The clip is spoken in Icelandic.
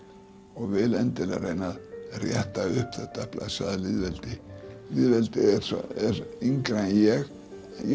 og vil endilega reyna að rétta upp þetta blessaða lýðveldi lýðveldið er yngra en ég